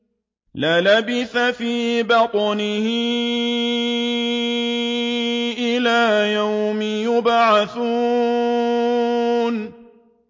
لَلَبِثَ فِي بَطْنِهِ إِلَىٰ يَوْمِ يُبْعَثُونَ